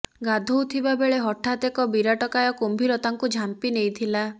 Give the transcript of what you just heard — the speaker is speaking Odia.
ଗାଧୋଉଥିବା ବେଳେ ହଠାତ ଏକ ବିରାଟକାୟ କୁମ୍ଭୀର ତାଙ୍କୁ ଝାମ୍ପି ନେଇଥିଲା